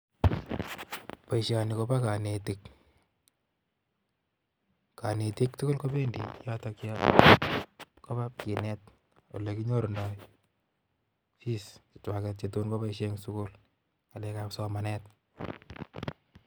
Boishoni kobo konetik, konetik tuguul kobendi yotok yon koba kinet olekinyorundo fees chechwak chetun keboishien en ngalekab somanet